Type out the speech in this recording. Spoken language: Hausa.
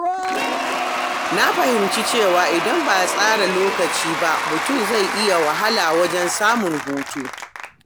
Na fahimci cewa idan ba a tsara lokaci ba, mutum zai iya wahala wajen samun hutu.